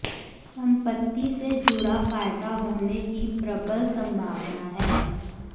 संपत्ति से जुड़ा फायदा होने की प्रबल संभावना है